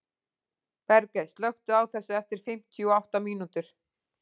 Bergey, slökktu á þessu eftir fimmtíu og átta mínútur.